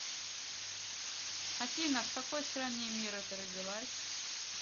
афина в какой стране мира ты родилась